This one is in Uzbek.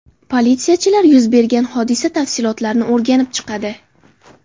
Politsiyachilar yuz bergan hodisa tafsilotlarini o‘rganib chiqadi.